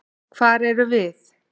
Hvar erum við?